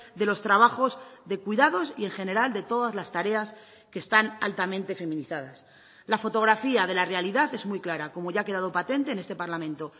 de los trabajos de cuidados y en general de todas las tareas que están altamente feminizadas la fotografía de la realidad es muy clara como ya ha quedado patente en este parlamento